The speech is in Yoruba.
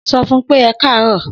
So fún pé ẹkarọ